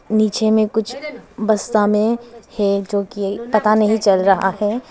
नीचे में कुछ बस्ता में है जो कि पता नहीं चल रहा है।